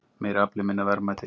Meiri afli en minna verðmæti